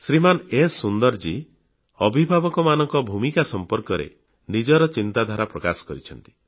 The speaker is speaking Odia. ଶ୍ରୀମାନ ଏସ ସୁନ୍ଦରଜୀ ଅଭିଭାବକମାନଙ୍କ ଭୂମିକା ସମ୍ପର୍କରେ ନିଜର ଚିନ୍ତାଧାରା ପ୍ରକାଶ କରିଛନ୍ତି